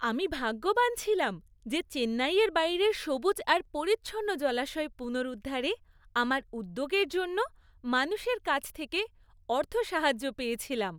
আমি ভাগ্যবান ছিলাম যে চেন্নাইয়ের বাইরের সবুজ আর পরিচ্ছন্ন জলাশয় পুনরুদ্ধারে আমার উদ্যোগের জন্য মানুষের কাছ থেকে অর্থ সাহায্য় পেয়েছিলাম।